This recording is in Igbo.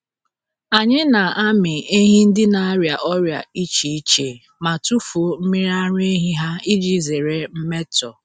Anyị na-amị ehi ndị na-arịa ọrịa iche iche ma tufuo mmiri ara ehi ha iji zere mmetọ.